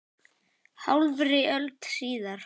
Hálfri öld síðar.